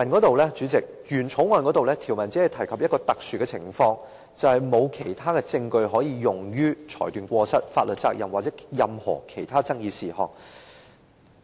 代理主席，原《條例草案》的條文中，只提及一種特殊的適用情況，即沒有其他的證據可用於裁斷過失、法律責任或任何其他爭議事項。